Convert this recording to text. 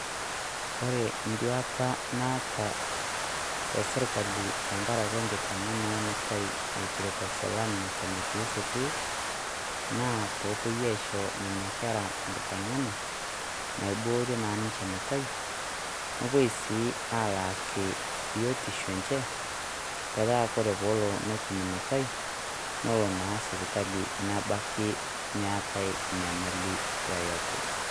Kore entuata naata tesirkali tengaraki engitenge'ena enutai eitashalal neton etii sukuul naa peepoe aisho Nena Kera engitenge'ena naibboorie naa niche enutai, nepoi sii alaaki biotisho enche metaa tenelo netum Ina nutai nelo naa sipitali nebaki meetae nyamali yeyote.